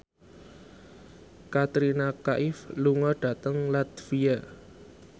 Katrina Kaif lunga dhateng latvia